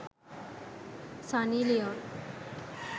sunny leon